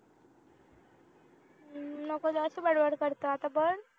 नको जराशी बडबड करतो आता बंद